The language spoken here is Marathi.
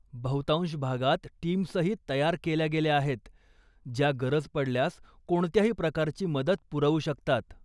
बहुतांश भागात टीम्सही तयार केल्या गेल्या आहेत, ज्या गरज पडल्यास कोणत्याही प्रकारची मदत पुरवू शकतात.